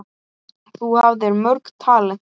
Þú hafðir mörg talent.